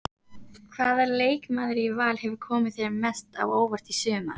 Hvaða leikmaður í Val hefur komið þér mest á óvart í sumar?